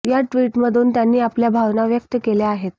या ट्विटमधून त्यांनी आपल्या भावना व्यक्त केल्या आहेत